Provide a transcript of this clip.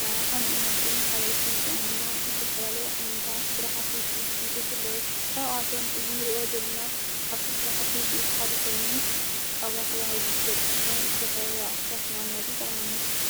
ና ሓምኡመጥን ኻልኦትን ጥኦምና እሰፈላለይ ዓይንታ ሥራሓቲ ውፂት ጥንጺት ኣለዉ ካብኣቶም እዝሚርእዮ ዘልና ካብቱም ሥራሕቲ ውፂት ሓድ ኾኑ ጣውላተብሂሉ ዘፍለጥእንተኾዉን ዝተፈረለይ ዕኅታት መቅመጢ ጠቕመና::